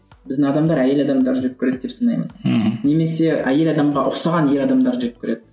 біздің адамдар әйел адамдарды жек көреді деп санаймын мхм немесе әйел адамға ұқсаған ер адамдарды жек көреді